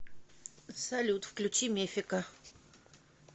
салют включи мефика